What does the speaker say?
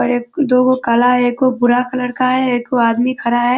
बड़े दो गो काला है एगो भूरा कलर का है एगो आदमी खड़ा है।